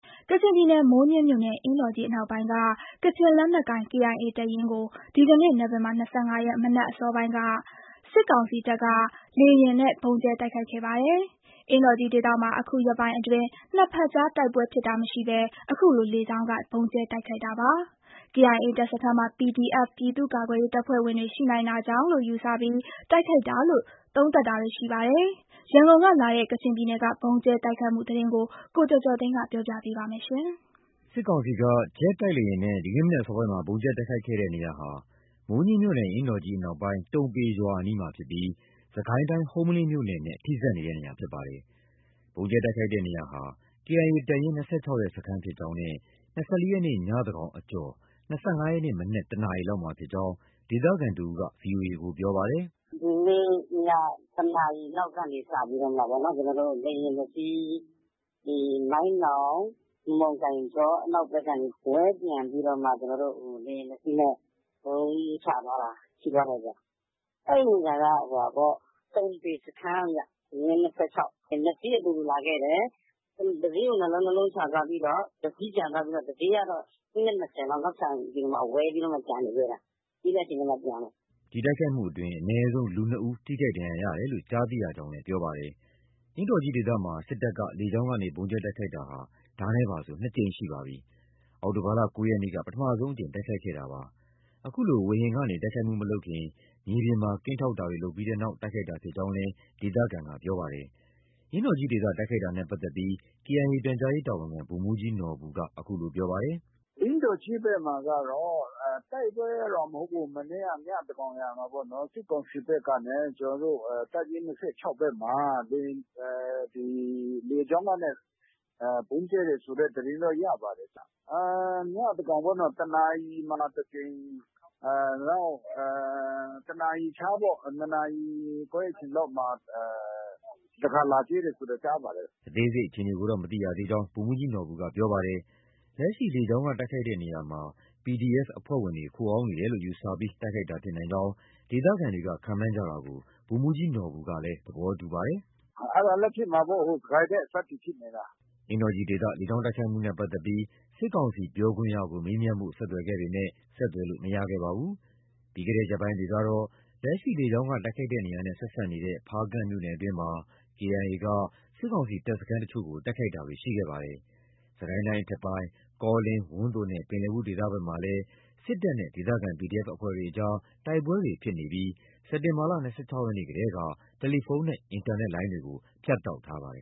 ကချင်ပြည်နယ်၊ မိုးညှင်းမြို့နယ် အင်းတော်ကြီးအနောက်ပိုင်းက ကချင်လက်နက်ကိုင် KIA တပ်ရင်းကို ဒီကနေ့ နိုဝင်ဘာ ၂၅ ရက် မနက်အစောပိုင်းမှာ စစ်ကောင်စီက လေယာဉ်နဲ့ ဗုံးကြဲတိုက်ခိုက်ခဲ့ပါတယ်။ အင်းတော်ကြီးဒေသမှာ အခုရက်ပိုင်းအတွင်း နှစ်ဘက်ကြား တိုက်ပွဲဖြစ် တာမရှိဘဲ အခုလို လေကြောင်းက ဗုံးကြဲတိုက်ခိုက်တာပါ။ KIA တပ်စခန်းမှာ PDFပြည်သူ့ကာကွယ်ရေးတပ်ဖွဲ့ဝင်တွေ ရှိနိုင်တာကြောင့်လို့ယူဆပြီး တိုက်ခိုက်တာလို့ သုံးသပ်တာတွေ ရှိပါတယ်။ ရန်ကုန်ကလာတဲ့ ကချင်ပြည်နယ်က ဗုံးကြဲ တိုက်ခိုက်မှုသတင်းကို ကိုကျော်ကျော်သိန်းက တင်ပြပေးထားပါတယ်။ စစ်ကောင်စီက ဂျက်တိုက်လေယာဉ်နဲ့ ဒီကနေ့မနက်အစောပိုင်းမှာ ဗုံးကြဲတိုက်ခိုက်တဲ့နေရာဟာ မိုးညှင်းမြို့နယ် အင်းတော်ကြီးအနောက်ပိုင်း တုံပေရွာအနီးမှာဖြစ်ပြီး စစ်ကိုင်းတိုင်း ဟုမ္မလင်းမြို့နယ်နဲ့ ထိစပ်နေတဲ့နေရာဖြစ်ပါတယ်။ ဗုံးကြဲတိုက်ခိုက်တဲ့နေရာဟာ KIA တပ်ရင်း ၂၆ ရဲ့ စခန်းဖြစ်ကြောင်း နဲ့ ၂၄ ရက်နေ့ ညသန်းခေါင် အကျော်၂၅ ရက်နေ့မနက် ၁ နာရီလောက်မှာဖြစ်ကြောင်း ဒေသခံတဦးက VOA ကို ပြောပါတယ်။ “ဒီနေ့ ည ၁ နာရီလောက်ကနေစပြီးပေါ့နော်။ လေယာဉ် ၂ စီး။ ဒီ မိုင်းနောင်၊ မမုန်ကိုင်ကြော အနောက်ကနေ ဝဲပျံပြီးတော့မှ လေယာဉ် ၂စီးနဲ့ ဗုံးချသွားတာ ရှိသွားတယ်ဗျ။ အဲဒီနေရာက တုံပေ စခန်းဗျ။ ရင်း ၂၆။ ၂ စီးအတူတူလာခဲ့တယ်။ တစီးကို နှစ်လုံး၊ နှစ်လုံးချသွားပြီးတော့ တစီးပြန်သွားပြီးတော့ တစီးကတော့ မိနစ် ၂၀ လောက် နောက်ချန်ပြီးတော့ ဝဲပြီးတော့မှ ကျန်နေခဲ့တာ။ ပြီးတဲ့အချိန်ကျမှ ပြန်တယ်။” ဒီတိုက်ခိုက်မှုမှာ အနည်းဆုံး လူနှစ်ဦး ထိခိုက်ဒဏ်ရာရတယ်လို့ ကြားသိရကြောင်းလည်း ပြောပါတယ်။ အင်းတော်ကြီးဒေသမှာ စစ်တပ်က လေကြောင်းကနေ ဗုံးကြဲတိုက်ခိုက်တာဟာ ဒါနဲ့ပါဆို ၂ ကြိမ်ရှိပြီဖြစ်ပါတယ်။ အောက်တိုဘာလ ၉ ရက်နေ့က ပထမဆုံး တိုက်ခိုက်ခဲ့တာပါ။ အခုလို ဝေဟင်ကနေ တိုက်ခိုက်မှုမလုပ်ခင် မြေပြင်မှာ ကင်းထောက်တာတွေ လုပ်ပြီးတဲ့နောက် တိုက်ခိုက်တာ ဖြစ်ကြောင်းလည်း ဒေသခံက ပြောပါတယ်။ အင်းတော်ကြီးဒေသ တိုက်ခိုက်တာနဲ့ပတ်သက်ပြီး KIA ရဲ့ ပြန်ကြားရေးတာဝန်ခံ ဗိုလ်မှူးကြီးနော်ဘူက အခုလို ပြောပါတယ်။ “အင်းတော်ကြီးဒေသမှာ တိုက်ပွဲကတော့မဟုတ်ဘူး။ မနေ့က ညသန်းခေါင်ယံအချိန်မှာပေါ့နော်၊ စစ်ကောင်စီဘက်ကနေ ကျနော်တို့ တပ်ရင်း ၂၆ ဘက်မှာ လေကြောင်းကနေ ဗုံးကြဲတယ်ဆိုတဲ့သတင်းကတော့ ရပါတယ်။ ည သန်းခေါင်ပေါ့။ တနာရီမှာ တကြိမ်၊ နောက် တနာရီခြားပေါ့။ နှစ်နာရီခွဲ အချိန်လောက်မှာ တခါ လာကြဲတယ်ဆိုတာ ကြားပါတယ်။” အသေးစိတ်အခြေအနေကိုတော့ မသိရသေးကြောင်း ဗိုလ်မှူးကြီးနော်ဘူက ပြောပါတယ်။ လက်ရှိ လေကြောင်းက တိုက်ခိုက်တဲ့နေရာမှာ PDF အဖွဲ့တွေ ခိုအောင်းနေတယ်လို့ ယူဆပြီး တိုက်ခိုက်တာ ဖြစ်နိုင်ကြောင်း ဒေသခံတွေက ခန့်မှန်းကြတာကို ဗိုလ်မှူးကြီးနော်ဘူကလည်း သဘောတူပါတယ်။ “အဲဒါလည်း ဖြစ်မှာပေါ့။ ဟို စစ်ကိုင်းဘက် အစပ်တွေ ဖြစ်နေတာ။” အင်းတော်ကြီးဒေသ လေကြောင်းတိုက်ခိုက်မှုနဲ့ပတ်သက်ပြီး စစ်ကောင်စီ ပြောရေးဆိုခွင့်ရှိသူကို မေးမြန်းဖို့ ဆက်သွယ်ခဲ့ပေမဲ့ ဆက်သွယ်လို့ မရခဲ့ပါဘူး။ ပြီးခဲ့တဲ့ ရက်ပိုင်းတွေကတော့ လက်ရှိ လေကြောင်းက တိုက်ခိုက်တဲ့နေရာနဲ့ ဆက်စပ်နေတဲ့ ဖားကန့်မြို့နယ်အတွင်းမှာ KIA က စစ်ကောင်စီတပ်စခန်းအချို့ကို တိုက်ခိုက်တာတွေ ရှိခဲ့ပါတယ်။ စစ်ကိုင်းတိုင်းအထက်ပိုင်း ကောလင်း၊ ဝန်းသိုနဲ့ ပင်လည်ဘူးဒေသဘက်မှာလည်း စစ်ကောင်စီတပ်နဲ့ ဒေသခံ PDF အဖွဲ့တွေအကြား တိုက်ပွဲတွေ ဖြစ်နေပြီး စက်တင်ဘာလ ၂၆ ရက်နေ့ ကတည်းက တယ်လီဖုန်းနဲ့ အင်တာနက်လိုင်းတွေကို ဖြတ်တောက်ထားပါတယ်